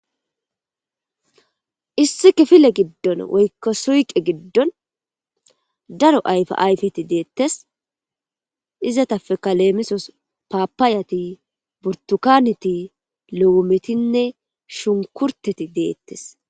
issi kifile giddon woykka suyqe giddon daro ayfa ayfeti deettes izatapeka leemisos paapaayati burtukaneti lowometinne shunkurteti deettes